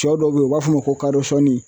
sɔ dɔw be yen u b'a fɔ ko kadɔsɔni